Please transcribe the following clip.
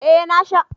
Ee na sha.